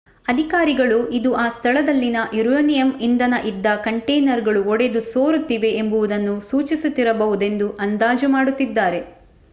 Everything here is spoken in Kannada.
ಅಧಿಕಾರಿಗಳು ಇದು ಆ ಸ್ಥಳದಲ್ಲಿನ ಯುರೇನಿಯಮ್ ಇಂಧನ ಇದ್ದ ಕಂಟೇನರ್ಗಳು ಒಡೆದು ಸೋರುತ್ತಿವೆ ಎಂಬುದನ್ನು ಸೂಚಿಸುತ್ತಿರಬಹುದೆಂದು ಆಂದಾಜು ಮಾಡುತ್ತಿದ್ದಾರೆ